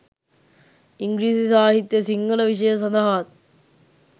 ඉංග්‍රීසි සාහිත්‍ය සිංහල විෂය සඳහාත්